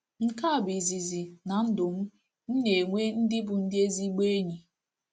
Nke a bụ izizi, na ndụ m, m na-enwe ndị bụ ndị ezigbo enyi.